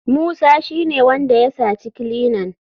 Musa shine wanda ya saci kilinan.